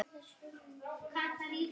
Allir geta lent í því.